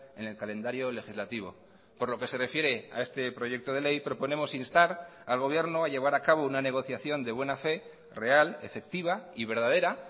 en el calendario legislativo por lo que se refiere a este proyecto de ley proponemos instar al gobierno a llevar a cabo una negociación de buena fe real efectiva y verdadera